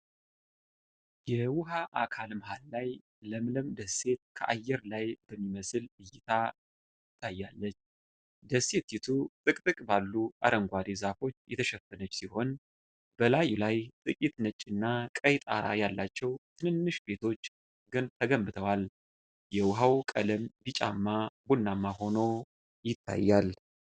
የውሃ አካል መሃል ላይ ለምለም ደሴት ከአየር ላይ በሚመስል እይታ ትታያለች። ደሴቲቱ ጥቅጥቅ ባሉ አረንጓዴ ዛፎች የተሸፈነች ሲሆን፣ በላዩ ላይ ጥቂት ነጭና ቀይ ጣራ ያላቸው ትንንሽ ቤቶች ተገንብተዋል። የውሃው ቀለም ቢጫማ ቡናማ ሆኖ ይታያል።